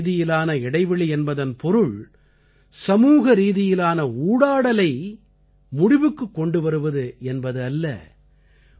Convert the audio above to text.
சமூகரீதியான இடைவெளி என்பதன் பொருள் சமூகரீதியிலான ஊடாடலை முடிவுக்குக் கொண்டு வருவது என்பது அல்ல